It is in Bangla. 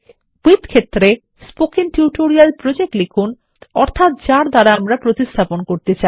উইথ ক্ষেত্রে স্পোকেন টিউটোরিয়াল প্রজেক্ট লিখুন অর্থাত যার দ্বারা প্রতিস্থাপনকরতে চাই